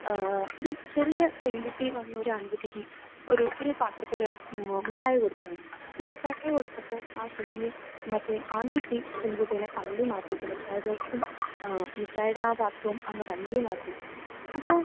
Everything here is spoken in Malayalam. ഏഹ് ഒരു ചെറിയ പെൺകുട്ടി വന്ന് ഒരു ആൺകുട്ടിക്ക് ഒരു പാത്രത്തിൽ മിഠായി കൊടുക്കുകയാണ്. മിഠായി കൊടുത്തപ്പോൾ ആ കുഞ്ഞ് മറ്റേ ആൺകുട്ടി പെൺകുട്ടിയെ തള്ളി മാറ്റിയിട്ട് മിഠായി ബോക്സും ഏഹ് മിഠായിയുടെ ആ പാത്രവും അങ്ങ് തള്ളി മാറ്റിയിട്ട്. അപ്പോൾ